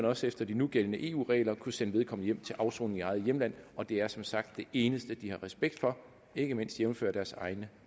også efter de nugældende eu regler kunne sende vedkommende hjem til afsoning i eget hjemland og det er som sagt det eneste de har respekt for ikke mindst jævnfør deres egne